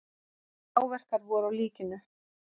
Áverkar voru á líkinu.